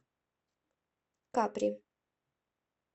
капри